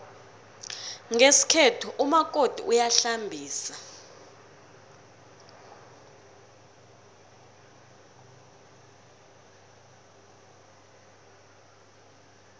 ngesikhethu umakoti uyahlambisa